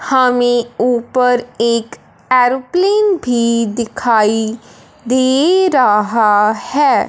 हमें ऊपर एक एरोप्लेन भी दिखाई दे रहा है।